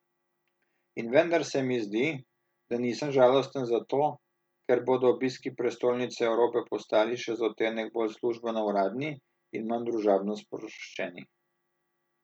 In vendar se mi zdi, da nisem žalosten zato, ker bodo obiski prestolnice Evrope postali še za odtenek bolj službeno uradni in manj družabno sproščeni.